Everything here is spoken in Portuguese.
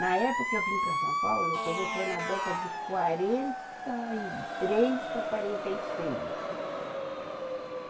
Na época que eu vim para São Paulo, quer ver, foi na década de quarenta e três para quarenta e seis.